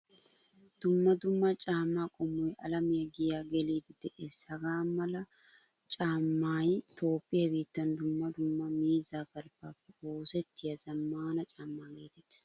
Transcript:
Dumma dumma caamaa qommoy alamiyaa giya geliidi de'ees. Hagaa mala caamay toophphiyaa biittan dumma dumma miizza galbbappe oosettiyaa zamaana caamaa geetettees.